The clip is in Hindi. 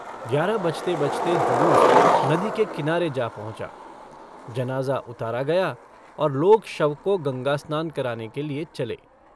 ग्यारह बजते-बजते जुलूस नदी के किनारे जा पहुंँचा। जनाज़ा उतारा गया और लोग शव को गंगास्नान कराने के लिए चले।